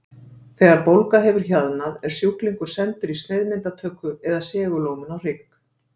Þegar bólga hefur hjaðnað er sjúklingur sendur í sneiðmyndatöku eða segulómun á hrygg.